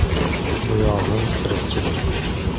Bu yog‘i tirikchilik.